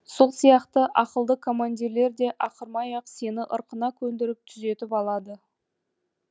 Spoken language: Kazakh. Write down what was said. сол сияқты ақылды командирлер де ақырмай ақ сені ырқына көндіріп түзетіп алады